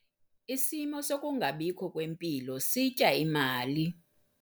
Isimo sokungabikho kwempilo sitya imali.